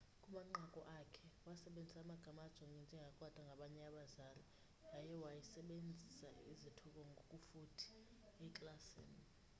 kumanqaku akhe wasebenzisa amagama ajongwa njengakrwada ngabanye abazali yaye waysebenzisa izithuko ngokufuthi eklasini